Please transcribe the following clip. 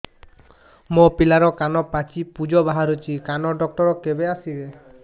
ମୋ ପିଲାର କାନ ପାଚି ପୂଜ ବାହାରୁଚି କାନ ଡକ୍ଟର କେବେ ଆସିବେ